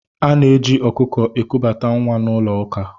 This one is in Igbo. Ana-eji ọkụkọ ekubata nwa n'ụlọ ụka.